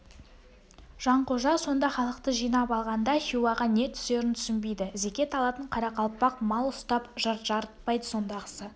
жанқожа сонда халықты жинап алғанда хиуаға не түсерін түсінбейді зекет алатын қарақалпақ мал ұстап жарытпайды сондағысы